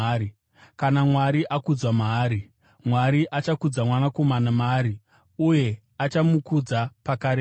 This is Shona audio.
Kana Mwari akudzwa maari, Mwari achakudza Mwanakomana maari uye achamukudza pakarepo.